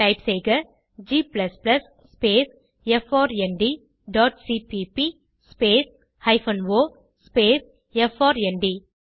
type செய்க g space F R N T dot C P P space hyphen O space F R N T